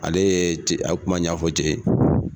Ale ye a kuma ɲɛfɔ cɛ ye.